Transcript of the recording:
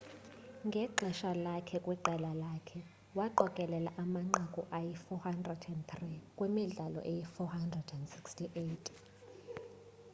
ngexesha lakhe kwiqela lakhe waqokelela amanqaku ayi 403 kwimidlalo eyi 468